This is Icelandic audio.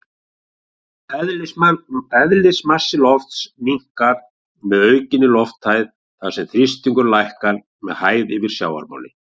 Eðlismassi lofts minnkar með aukinni lofthæð þar sem þrýstingur lækkar með hæð yfir sjávarmáli.